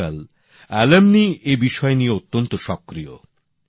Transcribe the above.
আজকাল প্রাক্তনীরা এ বিষয় নিয়ে অত্যন্ত সক্রিয়